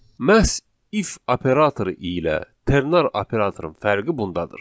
Məhz if operatoru ilə ternar operatorun fərqi bundadır.